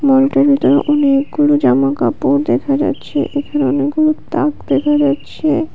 মলটির ভিতরে অনেকগুলো জামাকাপড় দেখা যাচ্ছে এখানে অনেকগুলো তাক দেখা যাচ্ছে।